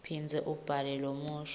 phindza ubhale lomusho